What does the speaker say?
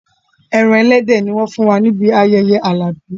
Ẹran ẹlẹ́dẹ̀ ni wọ́n fún wa níbi ayẹyẹ Alabi